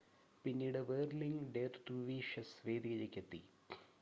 പിന്നീട് whirling dervishes വേദിയിലേക്ക് എത്തി